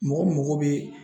Mɔgɔ mago bɛ